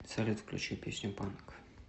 салют включи песню панк